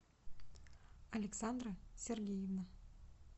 александра сергеевна